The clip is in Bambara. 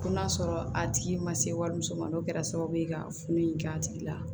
Ko n'a sɔrɔ a tigi ma se wariso ma n'o kɛra sababu ye ka funu in k'a tigi la